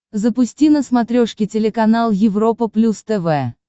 запусти на смотрешке телеканал европа плюс тв